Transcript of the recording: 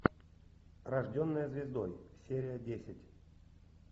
рожденная звездой серия десять